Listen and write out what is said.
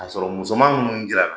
K'a sɔrɔ musoman minnu jira la.